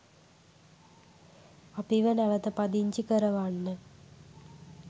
අපිව නැවත පදිංචි කරවන්න